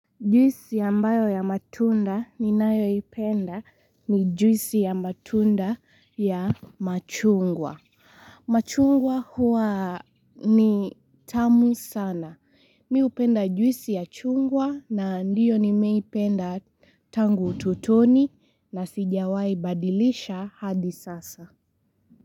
Juisi ambayo ya matunda ninayo ipenda ni juisi ya matunda ya machungwa. Machungwa huwa ni tamu sana. Mi hupenda juisi ya chungwa na ndiyo ni meipenda tangu utotoni na sijawai badilisha hadi sasa.